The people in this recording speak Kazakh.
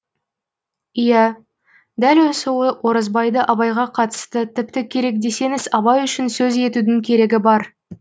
иә дәл осы оразбайды абайға қатысты тіпті керек десеңіз абай үшін сөз етудің керегі бар